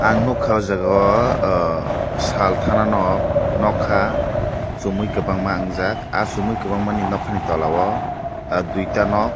ang nogka o jaga o ahh sal tana nok nokha somoi kobangma wngjak ah somoi kobangmani nokha ni tola o duita nog.